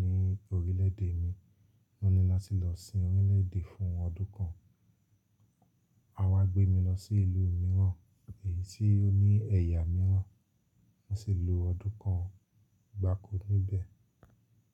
ní orílẹ̀ èdè mi, o ní láti lọ sin orílẹ̀ èdẹ̀ fún ọdún kan. A wá gbé mi lọ sí ìlú mìíràn èyí tí ó ní ẹ̀yà mìíràn. A sì lo ọdún kan gbákọ́ níbẹ̀.